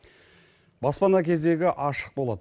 баспана кезегі ашық болады